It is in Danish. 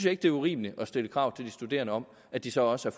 ikke det er urimeligt at stille krav til de studerende om at de så også